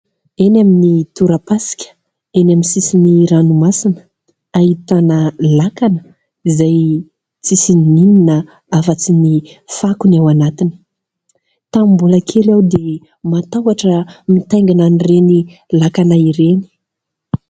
Eny amin'ny tora-pasika, eny amin'ny sisin'ny ranomasina ahitana lakana izay tsy misy inoninona afa-tsy ny fako no ao anatiny. Tamin'ny mbola kely aho dia matahotra mitaingina ireny lakana ireny.